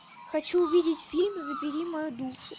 хочу увидеть фильм забери мою душу